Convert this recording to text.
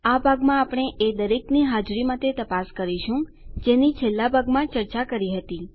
આ ભાગમાં આપણે એ દરેકની હાજરી માટે તપાસ કરીશું જેની છેલ્લાં ભાગમાં ચર્ચા કરી હતી